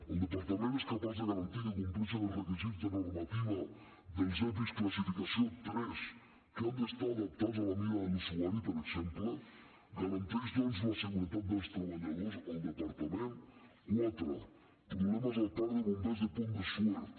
el departament és capaç de garantir que compleixen els requisits de normativa dels epi classificació tres que han d’estar adaptats a la mida de l’usuari per exemple garanteix doncs la seguretat dels treballadors el departament quatre problemes al parc de bombers de pont de suert